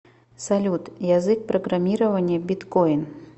салют язык программирования биткоин